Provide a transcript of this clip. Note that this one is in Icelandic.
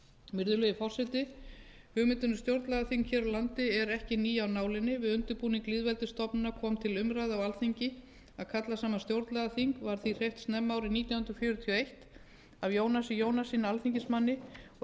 virðulegi forseti hugmyndin um stjórnlagaþing hér á landi er ekki ný af nálinni við undirbúning lýðveldisstofnunarinnar kom til umræðu á alþingi að kalla saman stjórnlagaþing var því hreyft snemma árið nítján hundruð fjörutíu og eitt af jónasi jónassyni alþingismanni að